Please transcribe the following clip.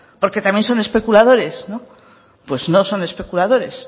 porque también son especuladores no pues no son especuladores